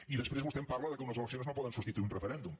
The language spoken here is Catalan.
i després vostè em parla que unes eleccions no po·den substituir un referèndum